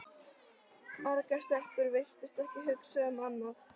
Margar stelpur virtust ekki hugsa um annað.